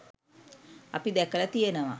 අපි දැකලා තියනවා